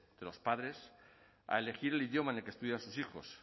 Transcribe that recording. de los padres a elegir el idioma en el que estudian sus hijos